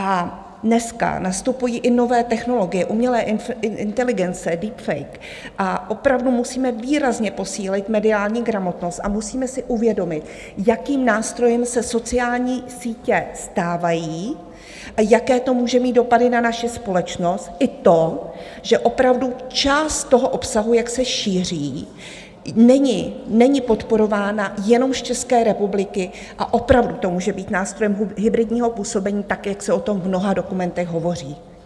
A dneska nastupují i nové technologie, umělé inteligence, deepfake, a opravdu musíme výrazně posílit mediální gramotnost a musíme si uvědomit, jakým nástrojem se sociální sítě stávají a jaké to může mít dopady na naši společnost, i to, že opravdu část toho obsahu, jak se šíří, není podporována jenom z České republiky a opravdu to může být nástrojem hybridního působení, tak jak se o tom v mnoha dokumentech hovoří.